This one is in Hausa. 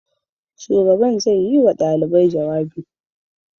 Shugaban zai yi wa ɗalibai jawabi.